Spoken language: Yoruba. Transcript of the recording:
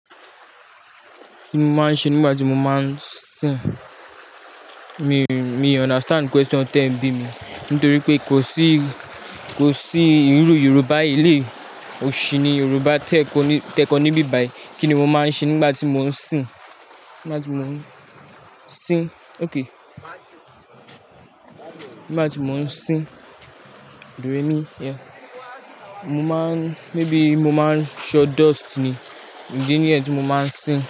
Kí ni mo máa ń ṣe nígbà tí mo máa ń sìn? Mi, mi understand question tẹ̀ bí mi. Nítorí pé kò sí, kò sí ìrú Yorùbá èléyi òṣì ní Yorùbá tẹ́kọ ní, tẹ́kọ ní bíbàyí. Kí ni mo máa ń ṣe nígbà tí mò ń sìn? Nígbà tí mò ń sìn. Okay. Nígbà tí mò ń sìn. Do, re, mi. Yeah. Mo máa ń, maybe mo máa ń ṣọ dust ni. Ìdí níyẹn tí mo máa ń sìn.